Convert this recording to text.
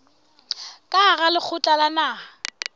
ka hara lekgotla la naha